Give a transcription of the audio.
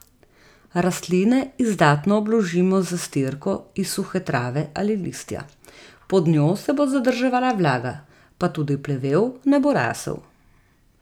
Rastline izdatno obložimo z zastirko iz suhe trave ali listja, pod njo se bo zadrževala vlaga, pa tudi plevel ne bo rasel.